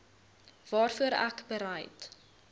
waarvoor ek bereid